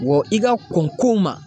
Wa i ka kɔn ko ma.